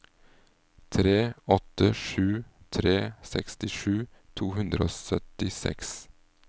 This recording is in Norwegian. tre åtte sju tre sekstisju to hundre og syttiseks